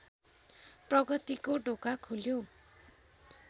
प्रगतिको ढोका खुल्यो